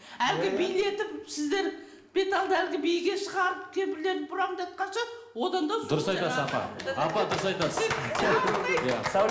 әлгі билетіп сіздер беталды әлгі биге шығарып кемпірлерді бұрандатқанша одан да дұрыс айтасыз апа апа дұрыс айтасыз